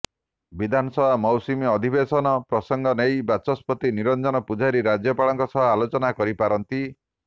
ବିଧାନସଭା ମୌସୁମୀ ଅଧିବେଶନ ପ୍ରସଙ୍ଗ ନେଇ ବାଚସ୍ପତି ନିରଞ୍ଜନ ପୂଜାରୀ ରାଜ୍ୟପାଳଙ୍କ ସହ ଆଲୋଚନା କରିପାରନ୍ତି